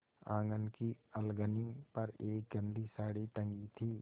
आँगन की अलगनी पर एक गंदी साड़ी टंगी थी